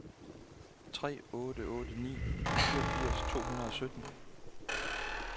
tre otte otte ni fireogfirs tre hundrede og sytten